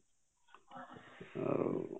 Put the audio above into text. ଆଉ